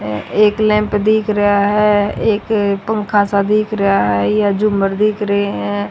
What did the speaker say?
एक लैंप दिख रेहा है एक पंखा सा दिख रेहा है यह झूमर देख रहे हैं।